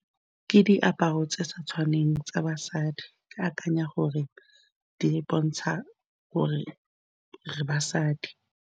Ke diaparo tse sa tshwaneng tsa basadi, ke akanya gore di bontsha gore re basadi.